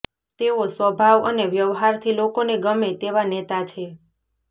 તેઓ સ્વભાવ અને વ્યહારથી લોકોને ગમે તેવા નેતા છે